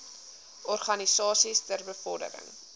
organisasies ter bevordering